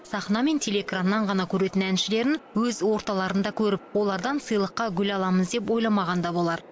сахна мен телеэкраннан ғана көретін әншілерін өз орталарында көріп олардан сыйлыққа гүл аламыз деп ойламаған да болар